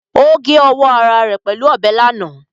Ó gé ọwọ́ ara rẹ̀ pẹ̀lú ọbẹ̀ lánàá